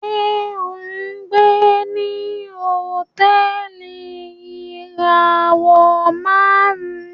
Ṣe o ngbé ní Hotẹẹli ìràwọ márùn?